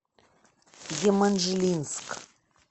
еманжелинск